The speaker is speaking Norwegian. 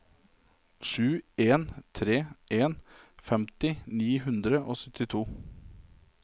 sju en tre en femti ni hundre og syttito